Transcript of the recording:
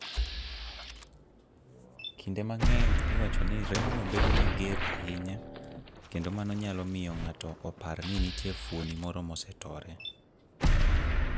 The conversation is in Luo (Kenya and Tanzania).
Kinde mang'eny, iwacho ni remno bedo mager ahinya, kendo mano nyalo miyo ng'ato opar ni nitie fuoni moro mosetore.